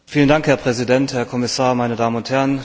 Herr Präsident, Herr Kommissar, meine Damen und Herren!